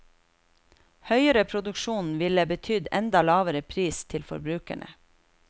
Høyere produksjon ville betydd enda lavere pris til forbrukerne.